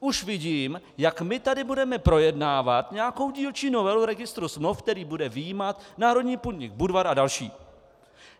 Už vidím, jak my tady budeme projednávat nějakou dílčí novelu registru smluv, který bude vyjímat národní podnik Budvar a další.